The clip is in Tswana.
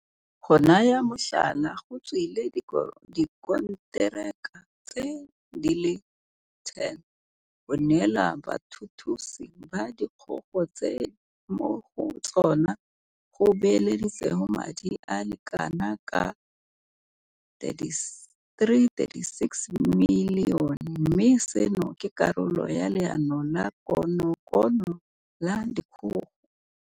Go naya motlhala, go tswile dikonteraka di le 10 go neelwa bathuthusi ba dikgogo tse mo go tsona go beeleditsweng madi a le kana ka R336 milione mme seno ke karolo ya Leano la konokono la dikgogo.